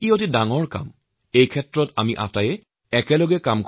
প্ৰত্যেক মানুহৰ মাজত এই সজাগতা জাগ্ৰত কৰাৰ বাবে আপোনাৰ সাহায্য খুবেই দৰকাৰ